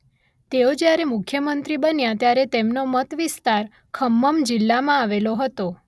તેઓ જ્યારે મુખ્યમંત્રી બન્યા ત્યારે તેમનો મત વિસ્તાર ખમ્મમ જિલ્લામાં આવેલો હતો.